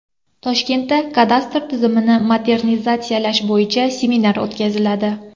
Toshkentda kadastr tizimlarini modernizatsiyalash bo‘yicha seminar o‘tkaziladi.